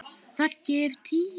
Raggi er tíu.